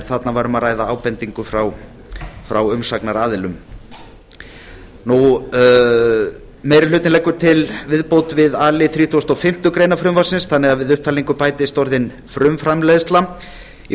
þarna var um að ræða ábendingu frá umsagnaraðilum meiri hlutinn leggur til viðbót við a lið þrítugasta og fimmtu grein frumvarpsins þannig að við upptalningu bætist orðið frumframleiðsla í